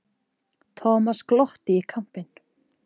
Thomas glotti í kampinn.